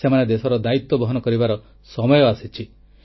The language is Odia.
ସେମାନେ ଦେଶର ଦାୟିତ୍ୱ ବହନ କରିବାର ସମୟ ଆସିଛି